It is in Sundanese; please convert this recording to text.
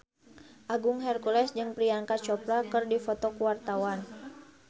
Agung Hercules jeung Priyanka Chopra keur dipoto ku wartawan